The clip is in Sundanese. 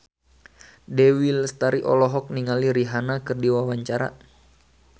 Dewi Lestari olohok ningali Rihanna keur diwawancara